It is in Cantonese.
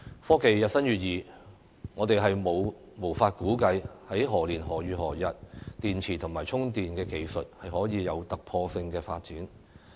科技日新月異，我們無法估計電池及充電技術在何年何月何日會有突破性的發展。